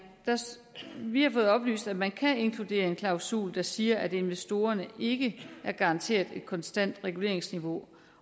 vi har fået oplyst at man kan inkludere en klausul der siger at investorerne ikke er garanteret et konstant reguleringsniveau